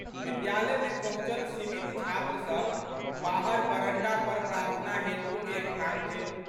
विद्यालयमे पहुँचल सीमित छात्रसब बाहर बरंडा पर प्रार्थना हेतु एकठाम भेल।